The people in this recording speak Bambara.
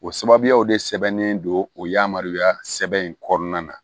O sababuyaw de sɛbɛnnen don o yamaruya sɛbɛn in kɔnɔna na